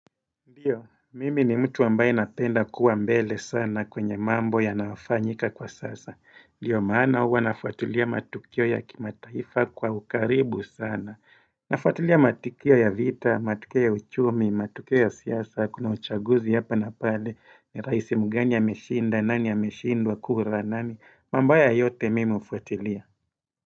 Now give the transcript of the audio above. Ndiyo, mimi ni mtu ambaye napenda kuwa mbele sana kwenye mambo yanayofanyika kwa sasa. Ndiyo, maana huwa nafuatilia matukio ya kimataifa kwa ukaribu sana. Nafuatilia matukio ya vita, matukio ya uchumi, matukio ya siasa, kuna uchaguzi hapa na pale, ni raisi mgani ameshinda, nani ameshindwa, kura, nani, mambo haya yote mimi hufuatilia.